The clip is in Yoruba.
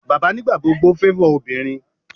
bàbá nigbagbogbo favor ọmọbinrin